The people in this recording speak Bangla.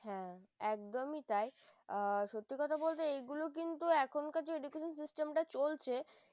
হ্যাঁ একদমই তাই আ সত্যি কথা বলতে এগুলো কিন্তু এখনকার যে education system চলছে